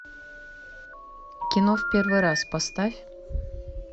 кино в первый раз поставь